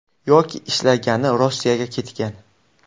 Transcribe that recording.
Yoki ishlagani Rossiyaga ketgan.